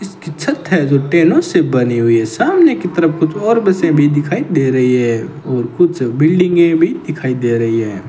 इसकी छत है जो टेनों से बनी हुई है सामने की तरफ कुछ और बसें भी दिखाई दे रही है और कुछ बिल्डिंगें भी दिखाई दे रही है।